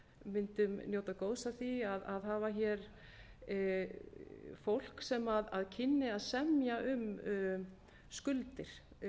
mundum njóta góðs af því að hafa fólk sem kynni að semja um skuldir